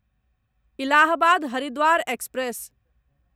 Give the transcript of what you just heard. Allahabad Haridwar express